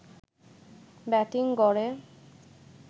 batting গড়ে